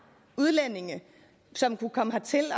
udlændinge som kunne komme hertil